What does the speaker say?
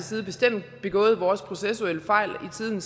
side bestemt begået vores processuelle fejl i tiden